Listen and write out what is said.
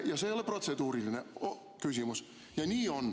Ja see oli protseduuriline küsimus, ja nii on.